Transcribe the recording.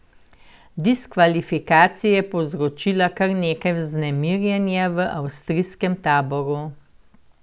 Diskvalifikacija je povzročila kar nekaj vznemirjenja v avstrijskem taboru.